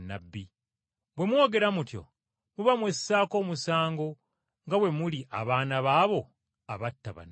Bwe mwogera mutyo muba mwessaako omusango nga bwe muli abaana b’abo abatta bannabbi.